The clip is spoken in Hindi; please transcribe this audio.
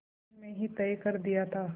बचपन में ही तय कर दिया था